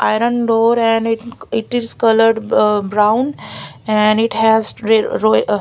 iron door and it is coloured bo brown and it has re ro ah --